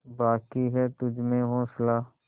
बाक़ी है तुझमें हौसला